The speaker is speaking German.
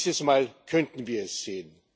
Dieses Mal könnten wir es sehen!